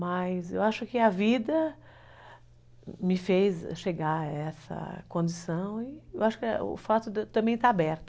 Mas eu acho que a vida me fez chegar a essa condição e eu acho que o fato também está aberto.